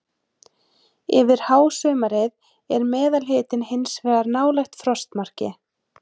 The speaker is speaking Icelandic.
Yfir hásumarið er meðalhitinn hins vegar nálægt frostmarki.